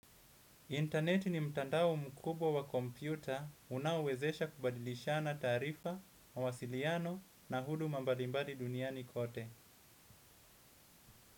Internet ni mtandao mkubwa wa kompyuta unaowezesha kubadilishana taarifa, mawasiliano na huduma mbalimbali duniani kote.